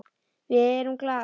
Við erum glaðar.